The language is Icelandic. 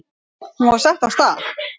Hún var sett af stað.